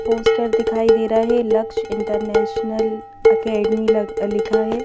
Poster दिखाई दे रहा है लक्ष्य इंटरनेशनल अकेडमी ल लिखा है।